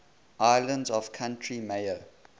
islands of county mayo